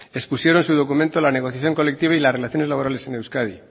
expusieron su documento la negociación colectiva y las relaciones laborales en euskadi